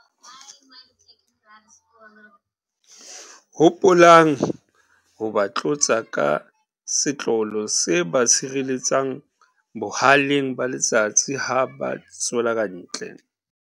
Hopolang ho ba tlotsa ka setlolo se ba sireletsang bohaleng ba letsatsi ha ba tswela kantle.